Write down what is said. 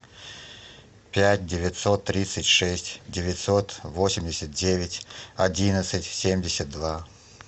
пять девятьсот тридцать шесть девятьсот восемьдесят девять одиннадцать семьдесят два